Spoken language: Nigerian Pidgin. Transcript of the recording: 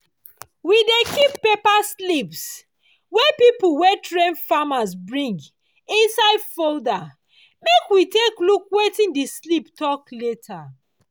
we dey keep paper slips wey people wey dey train farmers bring inside folder make we take look wetin di slip tok later.